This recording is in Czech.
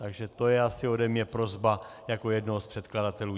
Takže to je asi ode mě prosba jako jednoho z předkladatelů.